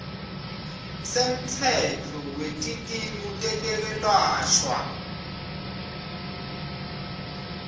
semtsetfo wetikimu tetekwelashwa